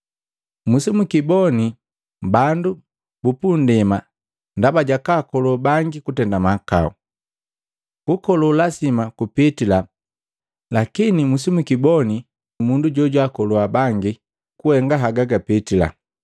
Misibikiboni bandu bupunndema ndaba jakwaakolo bangi kutenda mahakau. Kukolo lasima kupitila lakini misijukiboni mundu jojwaakolua bangi haga gapitila.